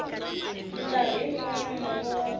mikarhi yin wana mongo wa